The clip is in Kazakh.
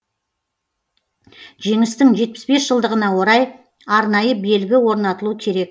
жеңістің жетпіс бес жылдығына орай арнайы белгі орнатылу керек